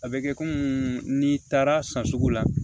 A bɛ kɛ n'i taara san sugu la